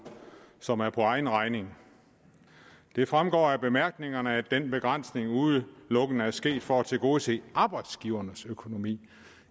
som er for egen regning det fremgår af bemærkningerne at den begrænsning udelukkende er sket for at tilgodese arbejdsgivernes økonomi